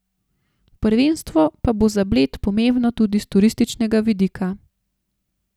Prvenstvo pa bo za Bled pomembno tudi s turističnega vidika.